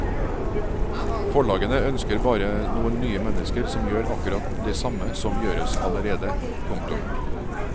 Forlagene ønsker bare noen nye mennesker som gjør akkurat det samme som gjøres allerede. punktum